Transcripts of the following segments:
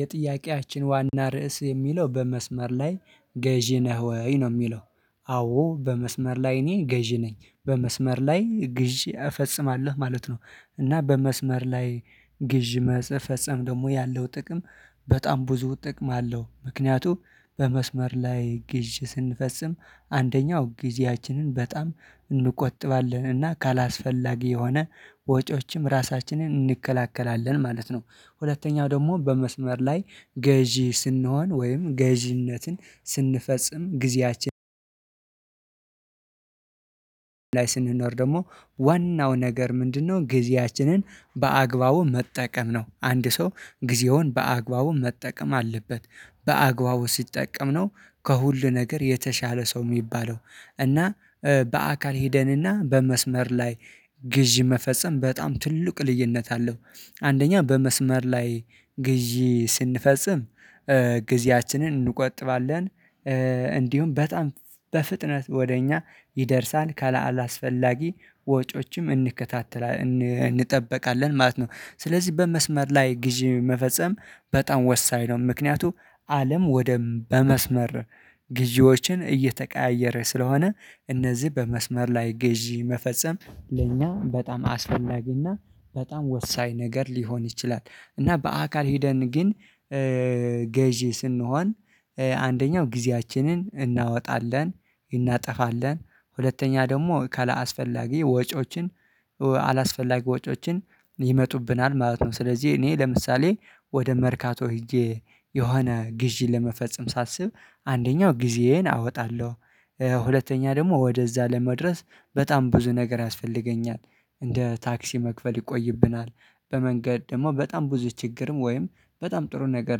የጥያቄያችን ዋና ርዕስ የሚለው በመስመር ላይ ገዢ ነህ ወይ? ነው የሚለው። አዎ በመስመር ላይ እኔ ገዢ ነኝ። በመስመር ላይ ግዢ እፈጽማለሁ ማለት ነው። እና በመስመር ላይ ግዥ መፈጸም ደግሞ ያለው ጥቅም በጣም ብዙ ጥቅም አለው። ምክንያቱም በመስመር ላይ ግዥ ስንፈጽም አንደኛው ጊዜያችንን በጣም እንቆጥባለን። እና ካላስፈላጊ የሆነ ወጪዎችም ራሳችንን እንከላከላለን ማለት ነው። ሁለተኛው ደግሞ በመስመር ላይ ገዢ ስንሆን ወይም ገዢነትን ስንፈጽም ጊዜያችን ላይ ስንኖር ደግሞ ዋናው ነገር ምንድነው ጊዜያችንን በአግባቡ መጠቀም ነው። አንድ ሰው ጊዜውን በአግባቡ መጠቀም አለበት በአግባቡ ሲጠቀም ነው ከሁሉ ነገር የተሻለ ሰው የሚባለው። እና በአካል ሄደንና በመስመር ላይ ግዢ መፈጸም በጣም ትልቅ ልዩነት አለው። አንደኛ በመስመር ላይ ግዢ ስንፈጽም ጊዜያችንን እንቆጥባለን። እንዲሁም በጣም በፍጥነት ወደ እኛ ይደርሳል። ከለአላስፈላጊ ወጮችም እንከታተላለን እንጠብቃለን ማለት ነው። ስለዚህ በመስመር ላይ ግዢ መፈጸም በጣም ወሳኝ ነው። ምክንያቱም አለም ወደ በመስመር ግዢዎችን እየተቀያየረ ስለሆነ እነዚህ በመስመር ላይ ግዢ መፈጸም ለእኛ በጣም አስፈላጊና በጣም ወሳኝ ነገር ሊሆን ይችላል። እና በአካል ሄደን ግን ገዢ ስንሆን አንደኛው ጊዜያችንን እናወጣለን፤ እናጠፋለን። ሁለተኛ ደግሞ ካላስፈላጊ ወጪዎችን አላስፈላጊ ወጪዎችን ይመጡብናል ማለት ነው። ስለዚህ እኔ ለምሳሌ ወደ መርካቶ ሄጄ የሆነ ግዢን ለመፈጸም ሳስብ አንደኛው ጊዜዬን አወጣለሁ። ሁለተኛ ደግሞ ወደዛ ለመድረስ በጣም ብዙ ነገር ያስፈልገኛል፤ እንደ ታክሲ መክፈል ይቆይብናል። በመንገድ ደግሞ በጣም ብዙ ችግርም ወይም በጣም ጥሩ ነገር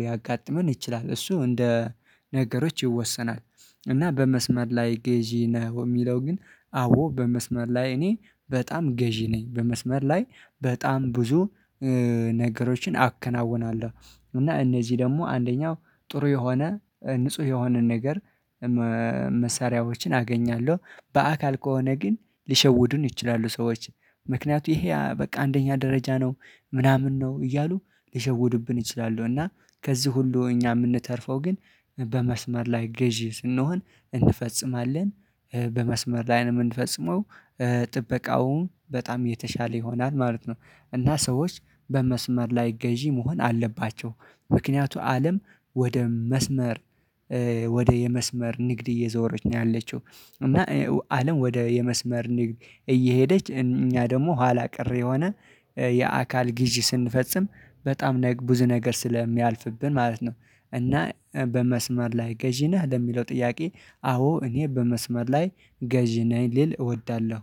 ሊያጋጥመን ይችላል። እሱ እንደ ነገሮች ይወሰናል። እና በመስመር ላይ ገዢ ነህ? የሚለው ግን አዎ በመስመር ላይ እኔ በጣም ገዢ ነኝ። በመስመር ላይ በጣም ብዙ ነገሮችን አከናውናለሁ። እና እነዚህ ደግሞ አንደኛው ጥሩ የሆነ ንጹህ የሆነን ነገር መሳሪያዎችን አገኛለሁ። በአካል ከሆነ ግን ሊሸውዱን ይችላሉ ሰዎች። ምክንያቱም ይሄ በቃ አንደኛ ደረጃ ነው። ምናምን ነው። እያሉ ሊሸወዱብን ይችላሉ። እና ከዚህ ሁሉ እኛ የምንተርፈው ግን በመስመር ላይ ገዢ ስንሆን እንፈጽማለን፤ በመስመር ላይ ነው የምንፈጽመው ጥበቃውም በጣም የተሻለ ይሆናል ማለት ነው። እና ሰዎች በመስመር ላይ ገዢ መሆን አለባቸው። ምክንያቱ አለም ወደ መስመር ወደ የመስመር ንግድ እየዞረች ነው ያለችው። እና አለም ወደ የመስመር ንግድ እየሄደች እኛ ደግሞ ኋላ ቀር የሆነ የአካል ግዢ ስንፈጽም በጣም ብዙ ነገር ስለሚያልፍብን ማለት ነው። እና በመስመር ላይ ገዢ ነህ? ለሚለው ጥያቄ አዎ እኔ በመስመር ላይ ገዢ ነኝ ልል እወዳለሁ።